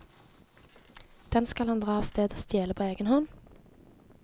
Den skal han dra av sted og stjele på egen hånd.